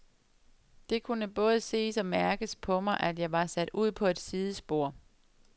Det kunne både ses og mærkes på mig, at jeg var sat ud på et sidespor.